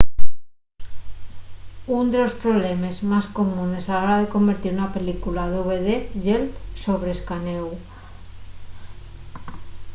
ún de los problemes más comunes a la hora de convertir una película a dvd ye’l sobre-escanéu